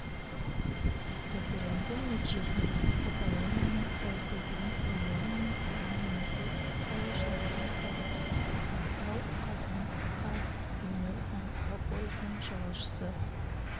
референдум нәтижесінде каталонияның тәуелсіздігін миллион мың адам немесе сайлаушылардың қолдады ақтау қазан қаз бейнеу-маңғыстау пойызының жолаушысы